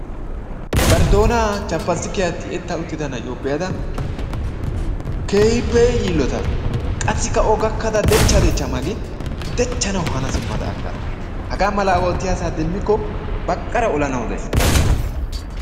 Bari doonan chappastikiya tiyetta uttida na'iyo be'ada keehippe yiillotaas. Qassikka O gakkada dechcha dechcha magin dechchanawu hana simmada aggas. Hagaa malaa oottiya asaa demmikko baqqara olanawu de'ays.